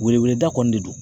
Wele weleda kɔni de don